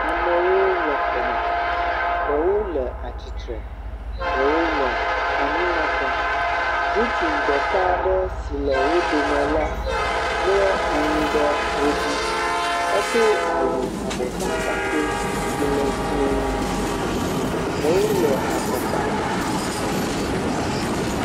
Amewo le xɔme. Ɖewo le atsitre, ɖewo le anyinɔƒe. Ŋutsu ɖeka aɖe si le wo dome la mlɔ anyi ɖe wo dzi. Edo awu abɔtakpakpɛ si le dziẽ. Ɖewo le afɔkpame.